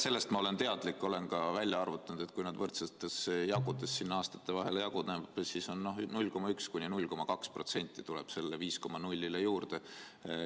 Sellest olen ma teadlik, olen ka välja arvutanud, et kui see võrdsetes osades aastate vahel jaguneb, siis 0,1–0,2% tuleb sellele 5,0‑le juurde.